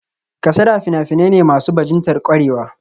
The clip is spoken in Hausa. Kasada fina-finai ne masu bajintar kwarewa